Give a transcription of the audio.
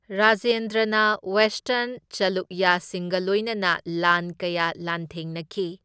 ꯔꯥꯖꯦꯟꯗ꯭ꯔꯅ western ꯆꯂꯨꯛꯌꯥꯁꯤꯡꯒ ꯂꯣꯏꯅꯅ ꯂꯥꯟ ꯀꯌꯥ ꯂꯥꯟꯊꯦꯡꯅꯈꯤ꯫